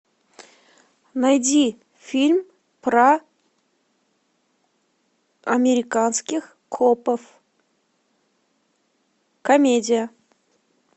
найди фильм про американских копов комедия